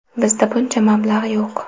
Bizda buncha mablag‘ yo‘q.